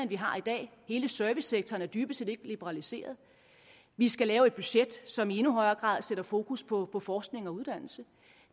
vi har i dag hele servicesektoren er dybest set ikke liberaliseret vi skal lave et budget som i endnu højere grad sætter fokus på på forskning og uddannelse